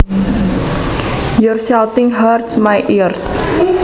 Your shouting hurts my ears